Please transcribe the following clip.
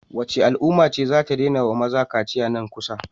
Wacce al'umma ce zata daina wa maza kaciya nan kusa?